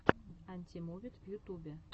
анимувид в ютубе